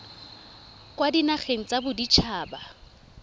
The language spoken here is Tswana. kwa dinageng tsa bodit haba